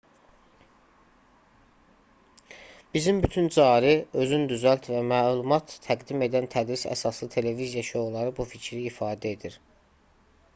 bizim bütün cari özün düzəlt və məlumat təqdim edən tədris əsaslı televiziya şouları bu fikri ifadə edir